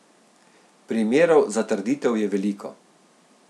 Primerov za trditev je veliko.